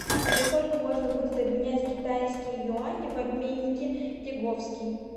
за сколько можно будет обменять китайские юани в обменнике лиговский